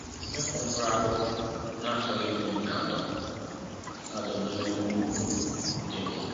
Ịkụ mkpụrụ akụkụ na-achọghị mmiri na-adọ adọ n'elu ugwu dị mma